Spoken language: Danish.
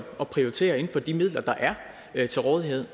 at prioritere inden for de midler der er til rådighed